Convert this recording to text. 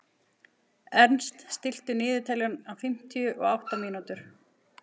Ernst, stilltu niðurteljara á fimmtíu og átta mínútur.